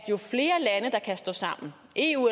eu